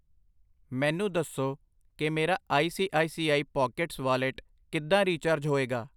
ਮੈਨੂੰ ਦੱਸੋ ਕਿ ਮੇਰਾ I C I C I pockets wallet ਕਿੱਦਾਂ ਰਿਚਾਰਜ ਹੋਏਗਾ I